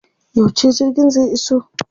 Yauce jirgin zai iso?